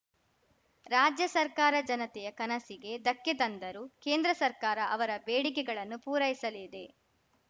ರಾಜ್ಯ ಸರ್ಕಾರ ಜನತೆಯ ಕನಸಿಗೆ ಧಕ್ಕೆ ತಂದರೂ ಕೇಂದ್ರ ಸರ್ಕಾರ ಅವರ ಬೇಡಿಕೆಗಳನ್ನು ಪೂರೈಸಲಿದೆ